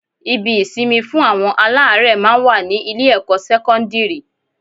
Ibi-ìsinmi fún àwọn aláárẹ̀ máa ń wà ní Ilé-ẹ̀kọ́ sẹ́kọ́ńdìrì